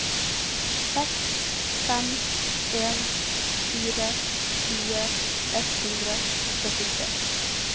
seks fem en fire tjue ett hundre og syttitre